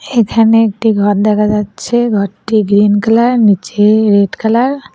এখানে একটি ঘর দেখা যাচ্ছে ঘরটি গ্রীন কালার নীচে রেড কালার ।